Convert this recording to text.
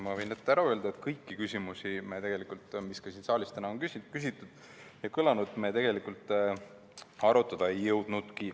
Ma võin ette ära öelda, et kõiki küsimusi, mis ka siin saalis täna on kõlanud, me arutada ei jõudnudki.